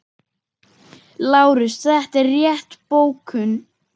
LÁRUS: Þetta er rétt bókun.